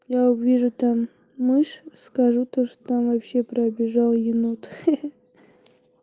но я увижу там мышь скажу то что там вообще пробежал енот хи-хи